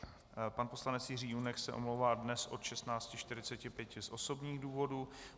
Pan poslanec Jiří Junek se omlouvá dnes od 16.45 z osobních důvodů.